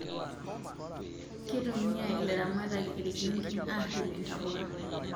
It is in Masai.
Kitumia ilaramatak irgingin aripie ntapuka